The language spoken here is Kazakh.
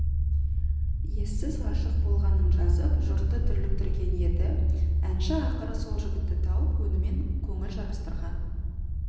ессіз ғашық болғанын жазып жұртты дүрліктірген еді әнші ақыры сол жігітті тауып онымен көңіл жарастырған